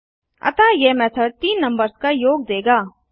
अतः यह मेथड तीन नंबर्स का योग देगा